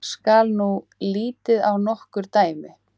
Skal nú litið á nokkur dæmi.